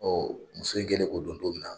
muso in kɛlen k'o dɔn don min na